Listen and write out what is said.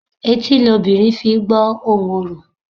Etí lobìnrin fi I gbó ohùn orò.